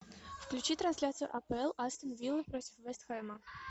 включи трансляцию апл астон вилла против вест хэма